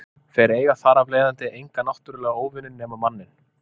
Þeir eiga þar af leiðandi enga náttúrulega óvini nema manninn.